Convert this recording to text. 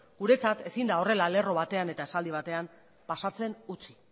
guretzat ezin da horrela lerro batean eta esaldi batean pasatzen utzi